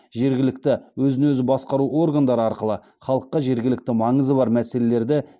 жергілікті өзін өзі басқару органдары арқылы халыққа жергілікті маңызы бар мәселелерді